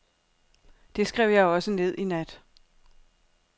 Det skrev jeg også ned i nat.